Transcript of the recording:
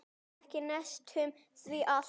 Öskra með sjálfri mér.